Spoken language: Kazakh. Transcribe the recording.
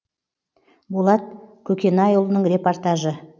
болат көкенайұлының репортажы